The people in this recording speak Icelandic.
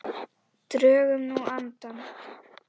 Drögum nú andann.